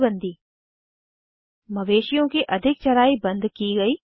चराई बन्दी मवेशिओं की अधिक चराई बन्द की गयी